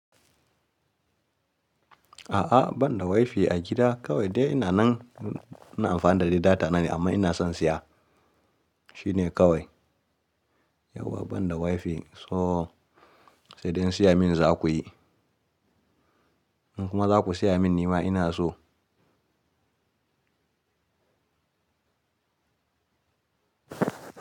A'a ban da wifi a gida kawai dai ina nan ina amfani da dai data na ne amma ina son siya shine kawai. Yauwa ban da wifi so, sai dai in siya min za ku yi. In kuma za ku siya min nima ina so.